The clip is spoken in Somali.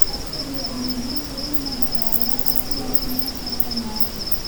Asagyo cunugisa xarir madaxyalo waxas sidhas makashalaynayo.